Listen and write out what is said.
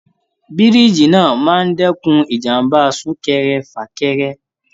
Bíríijí náà máa n dẹkùn ìjàmbá sunkẹ́rẹ́-fakẹ́rẹ́.